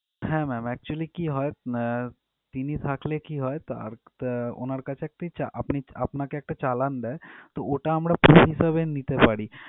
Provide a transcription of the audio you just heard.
হ্যাঁ ma'am actually কি হয় আহ তিনি থাকলে কি হয় তাঁর তা ওনার কাছে একটি চা~ আপনাকে একটা চালান দেয় তো ওটা আমরা proof হিসেবে নিতে পারি।